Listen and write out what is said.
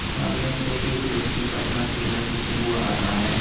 सामने से एक व्यक्ति अपना ठेला खींचा हुआ आ रहा है।